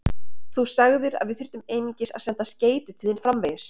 Þú sagðir, að við þyrftum einungis að senda skeyti til þín framvegis.